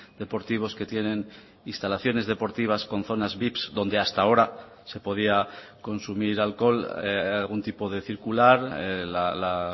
deportivos que tienen instalaciones deportivas con zonas vips donde hasta ahora se podía consumir alcohol algún tipo de circular la